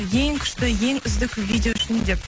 ең күшті ең үздік видео үшін деп